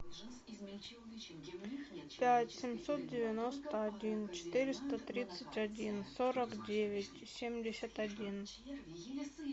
пять семьсот девяносто один четыреста тридцать один сорок девять семьдесят один